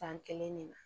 Tan kelen ne la